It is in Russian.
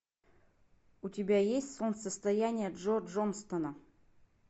у тебя есть солнцестояние джо джонстона